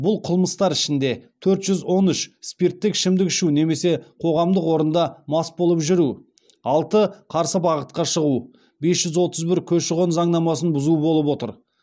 бұл қылмыстар ішінде төрт жүз он үш спирттік ішімдік ішу немесе қоғамдық орында мас болып жүру алты қарсы бағытқа шығу бес жүз отыз бір көші қон заңнамасын бұзу болып отыр